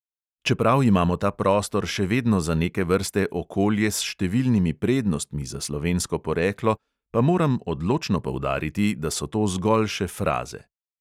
Čeprav imamo ta prostor še vedno za neke vrste okolje s številnimi prednostmi za slovensko poreklo, pa moram odločno poudariti, da so to zgolj še fraze.